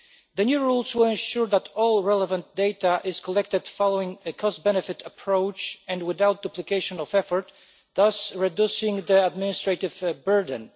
The new rules will ensure that all the relevant data is collected following a cost benefit approach and without duplication of effort, thus reducing the administrative burden.